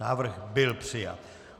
Návrh byl přijat.